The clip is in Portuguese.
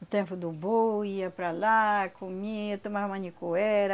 o tempo do boi ia para lá, comia, tomava manicuera.